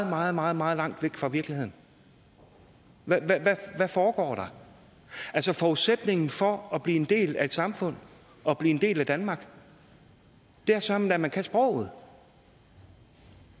meget meget meget langt væk fra virkeligheden hvad foregår der altså forudsætningen for at blive en del af et samfund at blive en del af danmark er søreme da at man kan sproget